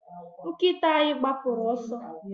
nkita anyi gbapụru ọsọ